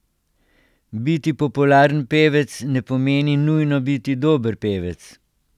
Biti popularen pevec ne pomeni nujno biti dober pevec.